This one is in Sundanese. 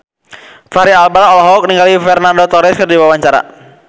Fachri Albar olohok ningali Fernando Torres keur diwawancara